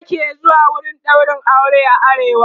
maza ke zuwa wurin ɗaurin aure a arewa